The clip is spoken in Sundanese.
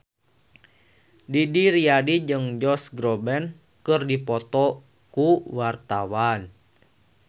Didi Riyadi jeung Josh Groban keur dipoto ku wartawan